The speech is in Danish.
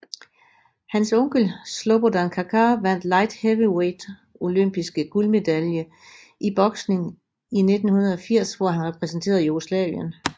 Hans onkel Slobodan Kačar vandt Light Heavyweight Olympiske guldmedalje i boksning i 1980 hvor han repræsenterede Jugoslavien